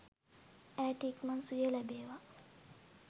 ඇයට ඉක්මන් සුවය ලැබේවා